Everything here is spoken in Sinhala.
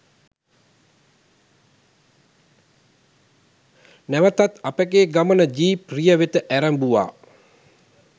නැවතත් අපගේ ගමන ජීප් රිය වෙත ඇරඹුවා